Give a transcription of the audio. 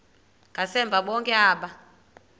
ngasemva bonke aba